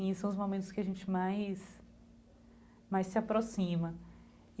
E são os momentos que a gente mais mais se aproxima.